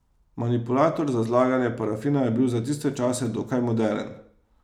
Manipulator za zlaganje parafina je bil za tiste čase dokaj moderen.